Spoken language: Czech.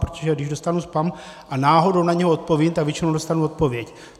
Protože když dostanu spam a náhodou na něj odpovím, tak většinou dostanu odpověď.